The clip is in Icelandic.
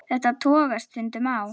Þetta togast stundum á.